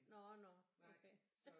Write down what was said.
Nå nå okay